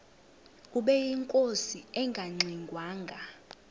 ubeyinkosi engangxe ngwanga